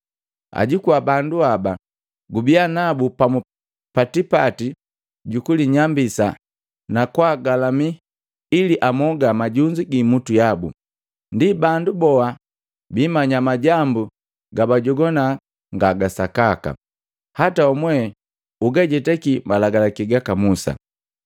Ajukua bandu haba, gubiya nabu pamu pa tipati gukulinyambisa na kwaagalami ili amoga majunzu giimutu yabu. Ndi bandu boha biimanya majambu gabajogwana nga ga sakaka, hata wamwe ugajetaki malagalaki gaka Musa.